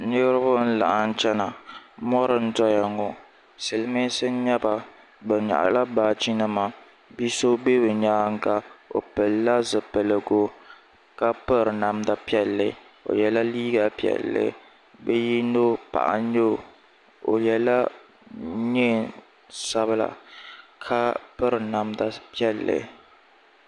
Niriba n laɣim chɛna mori n doya ŋɔ silimiinsi n yɛba bi yɛɣi la baaji nima bia so bɛ yɛanga o pili la zipiligu ka piri namda piɛli o yɛla liiga Piɛlli bi yino paɣa nyɛ o yela nɛɛn sabila ka piri namda Piɛlli.